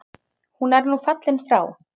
Hann er nú fallinn frá.